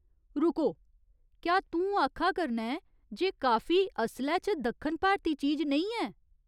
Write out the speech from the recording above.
रुको ! क्या तूं आखा करना ऐं जे काफी असलै च दक्खन भारती चीज नेईं ऐ?